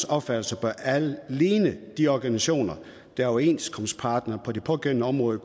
opfattelse bør alle ligne de organisationer der er overenskomstparter på det pågældende område